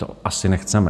To asi nechceme.